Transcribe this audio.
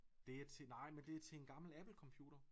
Det er til nej men det er til en gammel Apple computer